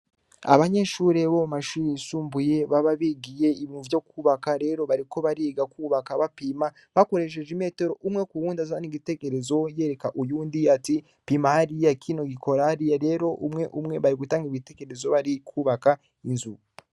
Abanyeshure bo mashure yisumbuye baba bigiye ibintu vyo kubaka rero bariko bariga kubaka bapima bakoresheje imetero umwe kuwundi azana igitekerezo yereka uyundi ati pima hariya kino gikora hariya rero umwe umwe bari gutanga ibitekerezo barikubaka inzu.